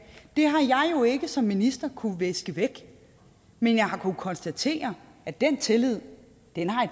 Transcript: det har jeg som minister jo kunnet viske væk men jeg har kunnet konstatere at den tillid i